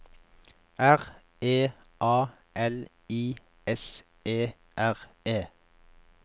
R E A L I S E R E